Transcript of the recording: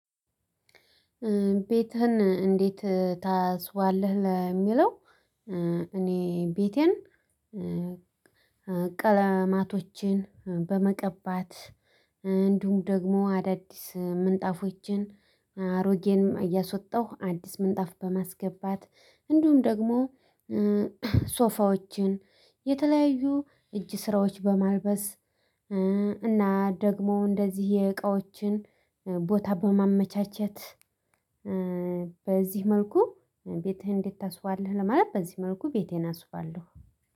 ቤትህን እንዴት ታስዋለህ የሚለው? እኔ ቤቴን ቀለማቶቼን በመቀባት እንዲሁም ደግሞ አዳዲስ ምንጣፎችን አሮጌን እያሶጣሁ አዲስ ምንጣፍ በማስገባት እንዲሁም ደግሞ ሶፋዎችን የተለያዩ እጅ ስራዎች በማልበስ እና ደግሞ እንደዚህ የእቃዎችን ቦታ በማመቻቸት በዚህ መልኩ ቤትህን እንዴት ታስዉባለህ ለማለት በዚህ መልኩ ቤቴን አስዉባለሁ